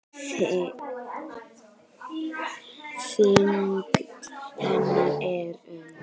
Þyngd hennar er um